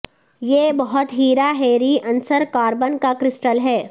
یہ بہت ہیرا ہیرے عنصر کاربن کا کرسٹل ہے